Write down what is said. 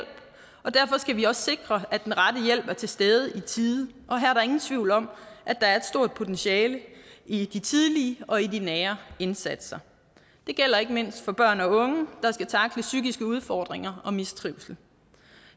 og derfor skal vi også sikre at den rette hjælp er til stede i tide og her er der ingen tvivl om at der er et stort potentiale i de tidlige og i de nære indsatser det gælder ikke mindst for børn og unge der skal tackle psykiske udfordringer og mistrivsel